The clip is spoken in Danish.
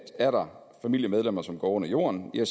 er der familiemedlemmer som går under jorden kan